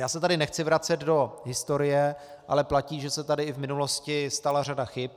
Já se tady nechci vracet do historie, ale platí, že se tady i v minulosti stala řada chyb.